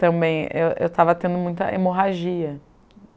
Também, eu eu estava tendo muita hemorragia.